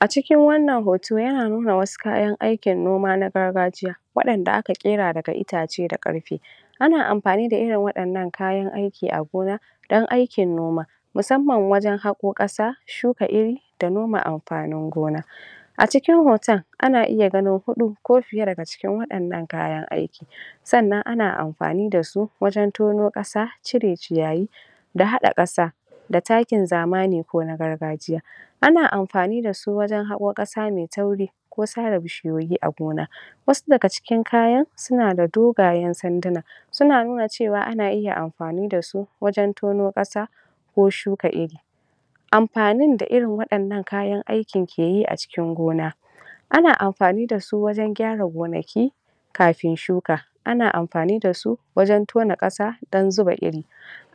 A cikin wannan hoto yana nuna wasu kayan aikin noma na gargajiya waɗanda aka ƙera daga itace da ƙarfe, ana amfani da irin waɗannan kayan aiki a gona dan aikin noma musamman wajen haƙo ƙasa shuka iri da noma amfanin gona. A cikin hoton ana iya ganin huɗu ko fiye daga cikin waɗannan kayan aiki. Sannan ana amfani da su wajen tono ƙasa cire ciyayi da haƙa ƙasa da takin zamani ko na gargajiya. Ana amfani da su ne wajen haƙo ƙasa mai tauri ko sare bishiyoyi a gona, wassu daga cikin kayan suna da dogayen sanduna suna nuna cewa ana iya amfani da su wajen tono ƙasa ko shuka iri. Amfanin da irin waɗannan kayan aikin ke yi a cikin gona. Ana amfani da su wajen gyara gonaki ana amfani da su wajen tona ƙasa dan zuba iri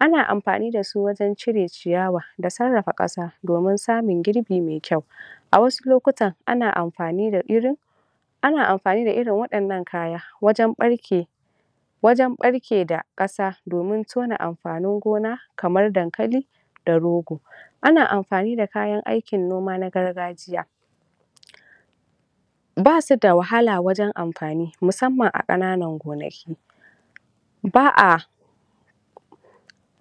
ana amfani da su wajen cire ciyawa da sarrafa ƙasa domin samun girbi mai kyau a wassu lokutan ana amfani da irin ana amfani da irin waɗannan kayan wajen ɓarke wajen ɓarke wajen ɓarke da ƙasa domin tona amfanin gona kamar dankali da rogo. Ana amfani da kayan aikin noma na gargajiya. Ba su da wahala wajen amfani musamman a ƙananan gonaki ba a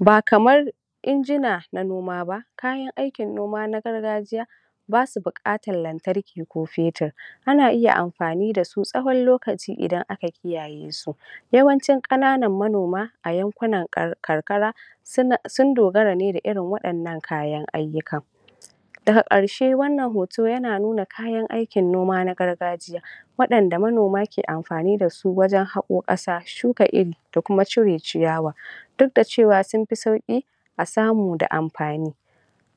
ba kamar injuna na noma ba. Kayan aikin noma na gargajiya ba sa buƙatan lantarki ko fetir ana iya amfani da su tsawon lokaci idan aka kiyaye su. Yawancin ƙananan manoma a yankunan karkara suna sun dogara ne da irin waɗannan kayan ayyukan. Daga ƙarshe wannan hoto yana nuna kayan aikin gargajiya waɗanda manoma ke amfani da su wajen haƙo ƙasa na noma shuka iri da kuma cire ciyawa duk da cewa sun fi sauƙi a samu da amfani,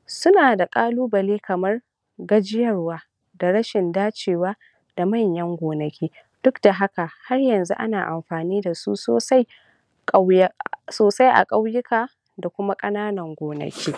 suna da ƙalubale kamar gajiyarwa da rashin dacewa da manyan gonaki duk da haka har yanzu ana amfani da su sosai kauya sosai a ƙauyuka da kuma ƙananan gonaki.